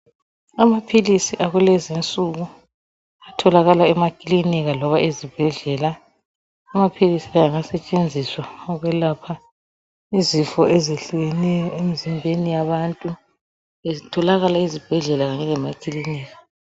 Amaphilisi akulezi nsuku atholakala emakilinika loba ezibhedlela, amaphilisi la engasetshenziswa ukwelapha izifo ezehlukeneyo emzimbeni yabantu zitholakala ezibhedlela kunye lemakilinika.